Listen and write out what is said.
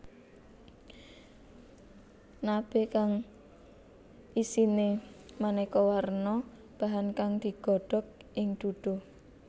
Nabe kang isine maneka warna bahan kang digodhog ing duduh